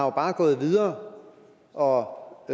jo bare gået videre og